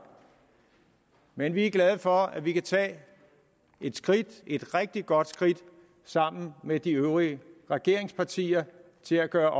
men vi er glade for at vi kan tage et skridt et rigtig godt skridt sammen med de øvrige regeringspartier til at gøre